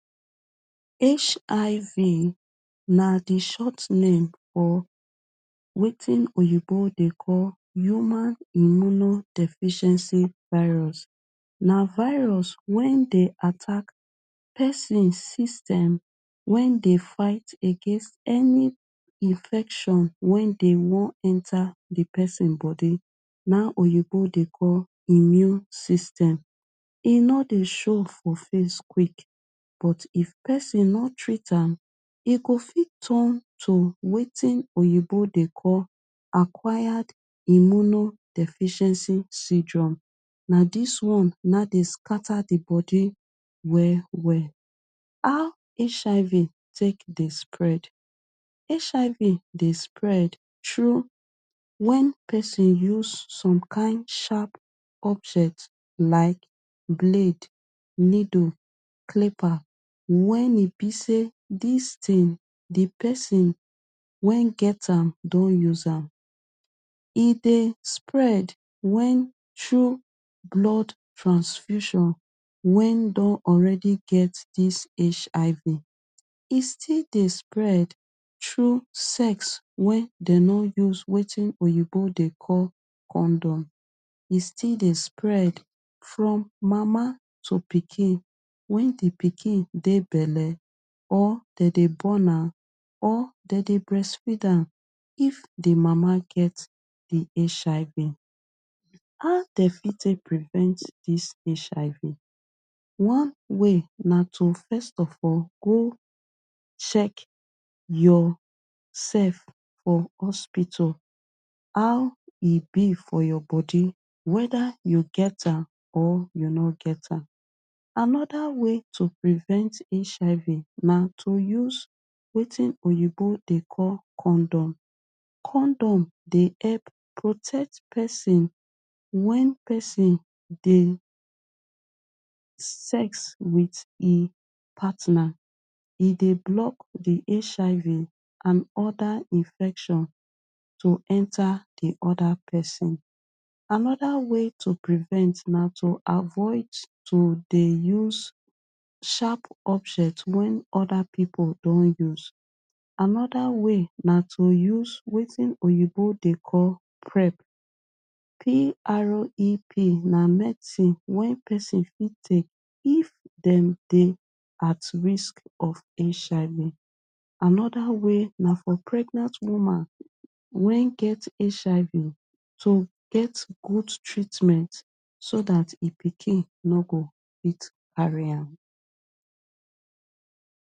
HIV na di short name of wetin oyinbo dey call Human Immuno Virus. Na virus wen dey attack person system wen dey fight against any infection wen dey wan enter di person body, na oyinbo dey call immune system. E nor dey show for face quick but if person nor treat am e go fit turn to wetin oyinbo dey call Acquired Immuno Deficiency Syndrome. Na dis one na dey scatter di body well well. How HIV tek dey spread? HIV dey spread tru when person use some kind sharp object like blade, needle, clipper wen e be sey dis tin di person wen get am don use am. E dey spread when tru blood transfusion wen don already get dis HIV. E still dey spread tru sex wen den nor use wetin oyinbo dey call condom. E still dey spread from mama to pikin when di pikin dey belle or den dey born am or den dey breastfeed am if di mama get di HIV. How den fit tek prevent dis HIV? One way na to first of all go check yourself for hospital. How e be for your body, weda you get am or you nor get am. Anoda way to prevent HIV na to use wetin oyinbo dey call condom. Condom dey help protect person when person dey sex wit e partner. E dey block di HIV and oda infection to enter di oda person. Anoda way to prevent na to avoid to dey use sharp object wen oda pipu don use. Anoda way na to use wetin oyinbo dey call prep. P.R.E.P na medicine wey person fit take if dem dey at risk of HIV. Anoda way na for pregnant woman wen get HIV to get good treatment so dat e pikin nor go fit carry am.